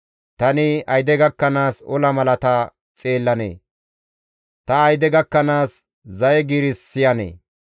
Tani ayde gakkanaas ola malata xeellanee? ta ayde gakkanaas zaye giiris siyanee?